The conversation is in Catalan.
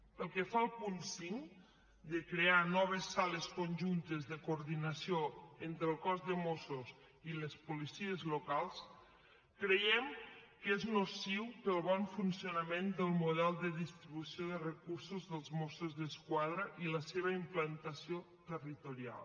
pel que fa al punt cinc de crear noves sales conjuntes de coordinació entre el cos de mossos i les policies locals creiem que és nociu per al bon funcionament del model de distribució de recursos dels mossos d’esquadra i la seva implantació territorial